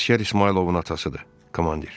Əsgər İsmayılovun atasıdır, komandir.